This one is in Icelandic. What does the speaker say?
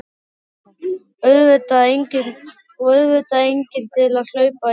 THEODÓRA: Og auðvitað enginn til að hlaupa í skarðið.